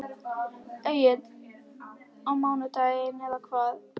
Egill: Á mánudaginn eða hvað?